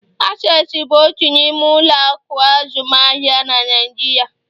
Access bụ otu n'ime ụlọ akụ azụmaahịa na nigeria.